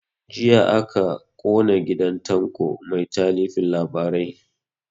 Jiya aka kona gidan tanko mai talifin labarai